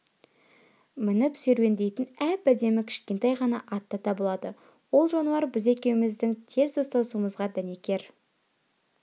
мініп серуендейтін әп-әдемі кішкентай ғана ат та табылады ол жануар біз екеуміздің тез достасуымызға дәнекер